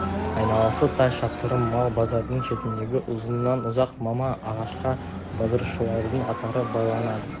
айналасы тай шаптырым мал базардың шетіндегі ұзыннан-ұзақ мама ағашқа базаршылардың аттары байланады